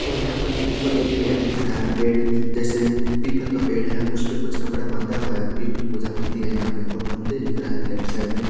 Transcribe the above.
और यहाँ पर भी ऊपर एक पेड़ दिख रह है पेड़ जेसे पीपल का पेड़ है उसपे कुछ कपडा बंधा हुआ है पीपल पूजा होती है यह पे और मंदिर दिख रहा है लेफ्ट साइड में--